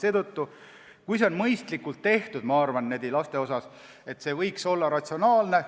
Seetõttu, ma arvan, et kui see on mõistlikult tehtud, siis laste puhul võiks see olla ratsionaalne.